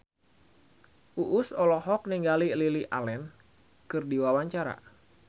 Uus olohok ningali Lily Allen keur diwawancara